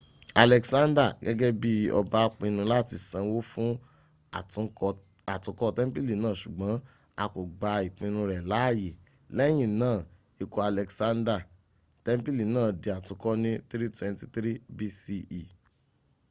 alexander gẹ́gẹ bi ọba pinu láti sanwó fún àtúnkọ́ tẹ́ḿpìlì náà sùgbọ́n a kò gba ìpinu rẹ láàyè. lẹ́yìna ikú alexander tẹ́ḿpìlì náà di àtúnkọ ní 323 bce